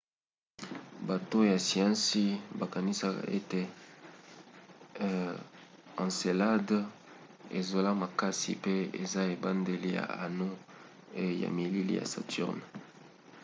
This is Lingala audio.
bato ya siansi bakanisaka ete encelade ezosala makasi pe eza ebandeli ya anneau e ya malili ya saturne